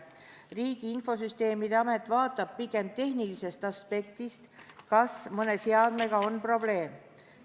Riigi Infosüsteemi Amet vaatab pigem tehnilisest aspektist, kas mõne seadmega on probleeme.